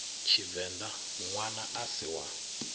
tshivenḓa ṋwana a si wa